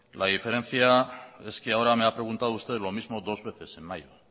la diferencia es que ahora me ha preguntado usted lo mismo dos veces en mayo